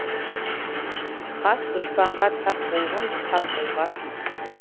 хас дұшпанға тап болғын тап болғасын